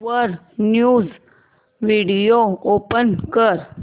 वर news video play कर